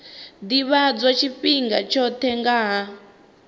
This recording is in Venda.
ḓivhadzwa tshifhinga tshoṱhe nga ha